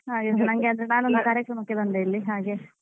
ಹಾ ನಾನು ಒಂದು ಕಾರ್ಯಕ್ರಮಕ್ಕೆ ಬಂದೆ ಹಾಗೆ.